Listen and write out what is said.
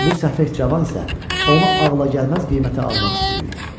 Bu səfeh cavan isə onu ağla sığmaz qiymətə almaq istəyirdi.